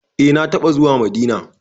Eh na taɓa zuwa Madina.